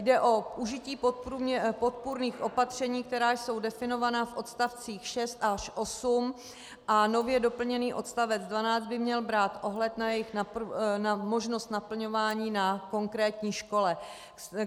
Jde o užití podpůrných opatření, která jsou definována v odstavcích 6 až 8, a nově doplněný odstavec 12 by měl brát ohled na možnost naplňování na konkrétní škole.